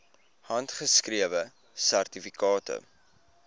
handgeskrewe sertifikate